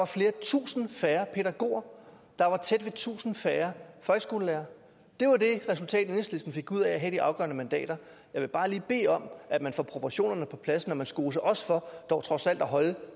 flere tusinde færre pædagoger der var tæt ved tusind færre folkeskolelærere det var det resultat enhedslisten fik ud af at have de afgørende mandater jeg vil bare lige bede om at man får proportionerne på plads når man skoser os for trods alt at holde